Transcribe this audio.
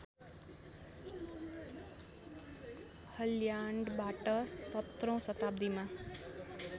हल्यान्डबाट सत्रौँ शताब्दीमा